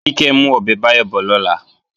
Kíkẹ́ ń mú ọbẹ̀ Báyọ̀ bọ̀ lọ́la